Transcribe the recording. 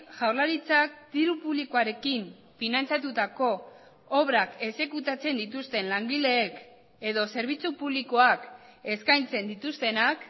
jaurlaritzak diru publikoarekin finantzatutako obrak exekutatzen dituzten langileek edo zerbitzu publikoak eskaintzen dituztenak